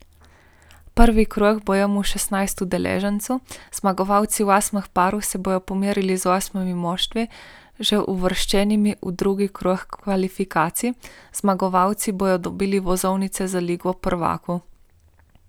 Prvi krog bo imel šestnajst udeležencev, zmagovalci osmih parov se bodo pomerili z osmimi moštvi, že uvrščenimi v drugi krog kvalifikacij, zmagovalci bodo dobili vozovnice za ligo prvakov.